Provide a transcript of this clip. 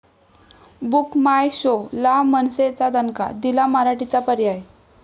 book my show' ला मनसेचा दणका, दिला मराठीचा पर्याय